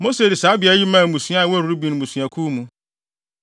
Mose de saa beae yi maa mmusua a ɛwɔ Ruben abusuakuw mu.